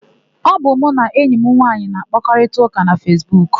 Ọ bụ mụ na enyi m nwaanyị na-àkpárịtaụka na Fesbuku.